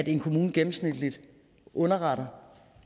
en kommune gennemsnitligt underretter